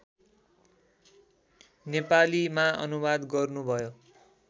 नेपालीमा अनुवाद गर्नुभयो